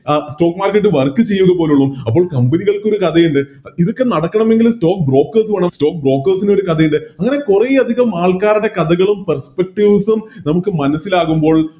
അഹ് Stock market work ചെയ്യുക പോലുള്ളു അപ്പൊ Company കൾക്കൊരു കഥ ഇല്ലേ ഇതൊക്കെ നടക്കണമെങ്കിൽ Stock brokers വേണം Stock brokers ന് ഒരു കഥയില്ല അങ്ങനെ കൊറേയധികം ആൾക്കാരുടെ കഥകളും Perspectives ഉം നമുക്ക് മനസ്സിലാവുമ്പോൾ